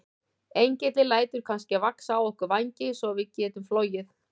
Engillinn lætur kannski vaxa á okkur vængi svo við getum flogið?